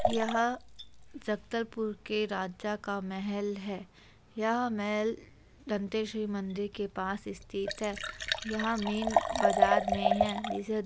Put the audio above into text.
यह जगदलपुर के राजा का महल है यह महल दंतेश्वरी मंदिर के पास स्थित है यह मेन बाजार मे है जिसे --